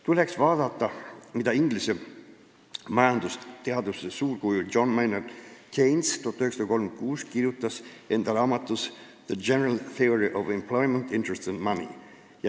Tuleks vaadata, mida inglise majandusteaduse suurkuju John Maynard Keynes 1936 kirjutas oma raamatus "The General Theory of Employment, Interest and Money".